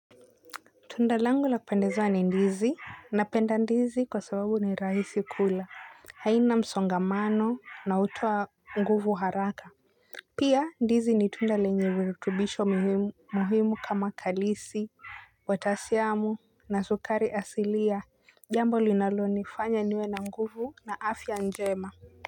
Tundalangu la kupendeza ni ndizi, napenda ndizi kwa sababu ni rahisi kula haina msongamano na hutowa nguvu haraka. Pia ndizi ni tunda lenye virutubisho muhimu kama kalisi watasiamu na sukari asilia jambo linalonifanya niwe na nguvu na afya njema.